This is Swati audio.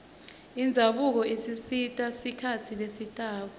indzabuko isita sikhatsi lesitako